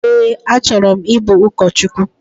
Ee, achọrọ m ibu ụkọchukwu